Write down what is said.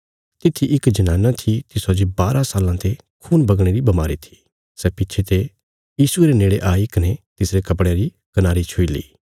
तित्‍थी इक जनाना थी तिसौ जे बारा साल्लां ते खून बगणे री बमारी थी सै पिच्छे ते यीशुये रे नेड़े आई कने तिसरे कपड़े री कनारी छुई ली